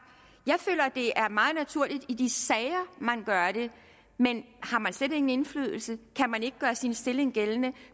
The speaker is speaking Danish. jeg føler at det er meget naturligt i de sager man gør det men har man slet ingen indflydelse kan man ikke gøre sin stilling gældende